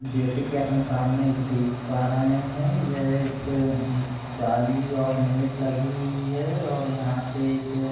जैसे कि अपन सामने एक देख पा रहे है यह एक उम्म जाली और नेट लगी हुई है और यहाँ पे एक --